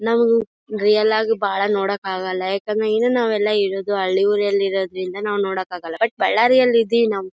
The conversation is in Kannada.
ನಾವು ರಿಯಲ್ ಆಗಿ ಬಹಳ ನೋಡೋಕ್ ಆಗಲ್ಲ ಯಾಕಂದ್ರೆ ಈಗ ನಾವೆಲ್ಲ ಇರೋದು ಹಳ್ಳಿ ಊರಲ್ಲಿ ಇರೋದ್ರಿಂದ ನಾವು ನೋಡೋಕ್ ಆಗಲ್ಲ ಬಟ್ ಬಳ್ಳಾರಿಯಲ್ಲಿ ಇದ್ದಿವಿ ನಾವು--